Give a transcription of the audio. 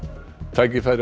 tækifæri